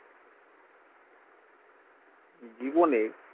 জীবনে